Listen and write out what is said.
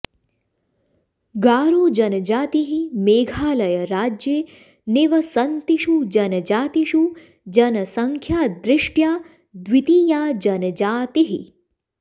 गारो जनजातिः मेघालयराज्ये निवसन्तिषु जनजातिषु जनसङ्ख्यादृष्ट्या द्वितीया जनजातिः